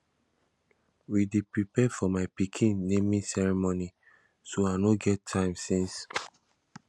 we dey prepare for my pikin naming ceremony so i no get time since